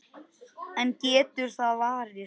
En getur það varist?